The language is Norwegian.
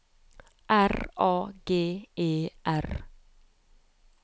R A G E R